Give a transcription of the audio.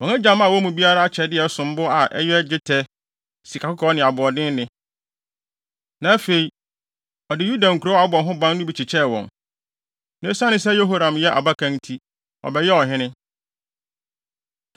Wɔn agya maa wɔn mu biara akyɛde a ɛsom bo, a ɛyɛ dwetɛ, sikakɔkɔɔ ne aboɔdenne; na afei, ɔde Yuda nkurow a wɔabɔ ho ban no bi kyekyɛɛ wɔn. Na esiane sɛ Yehoram yɛ abakan nti, ɔbɛyɛɛ ɔhene.